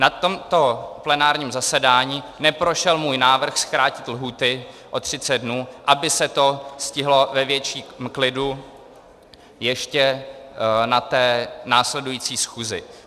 Na tomto plenárním zasedání neprošel můj návrh zkrátit lhůty o 30 dnů, aby se to stihlo ve větším klidu ještě na té následující schůzi.